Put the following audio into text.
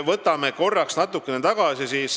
Vaatame korraks natukene tagasi.